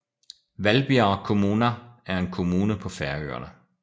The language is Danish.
Hvalbiar kommuna er en kommune på Færøerne